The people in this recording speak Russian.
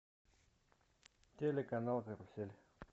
телеканал карусель